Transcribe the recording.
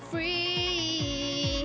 í